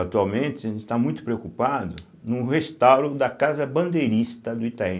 Atualmente, a gente está muito preocupado no restauro da Casa Bandeirista do Itaim.